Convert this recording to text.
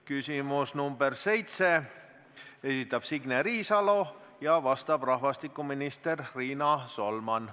Küsimus nr 7, esitab Signe Riisalo ja vastab rahvastikuminister Riina Solman.